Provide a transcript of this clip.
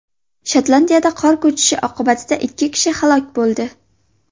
Shotlandiyada qor ko‘chkisi oqibatida ikki kishi halok bo‘ldi.